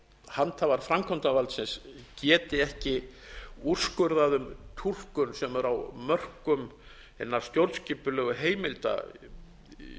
handhafar framkvæmdarvaldsins geti ekki úrskurðað um túlkun sem er á mörkum hinna stjórnskipulegu heimilda í